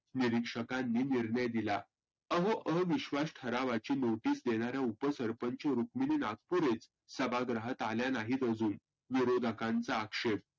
निरिक्षकांनी निर्णय दिला. अहो अहो विश्वास ठरावाची नोटीस देणाऱ्या उपसरपंचच सुक्मिनी नागपुरेच सभागृहात आल्या नाहीत अजून. विरोधकांचा अक्षेप.